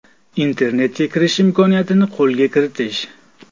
Internetga kirish imkoniyatini qo‘lga kiritish.